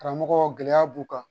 Karamɔgɔ gɛlɛya b'u kan